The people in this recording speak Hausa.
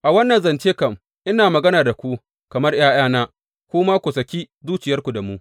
A wannan zance kam, ina magana da ku kamar ’ya’yana, ku ma ku saki zuciya da mu.